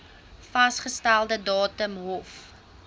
vasgestelde datum hof